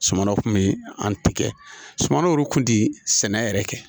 Sumanw tun bɛ an tigɛ suman olu kun ti sɛnɛ yɛrɛ kɛ